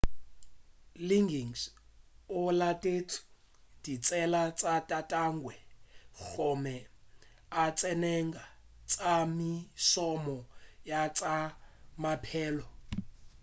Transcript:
liggins o latetše ditsela tša tatagwe gomme a tsenela tša mešomo ya tša maphelo